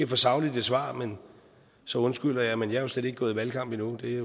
for sagligt svar men så undskylder jeg men jeg slet ikke gået i valgkamp endnu det